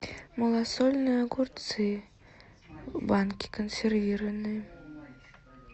малосольные огурцы в банке консервированные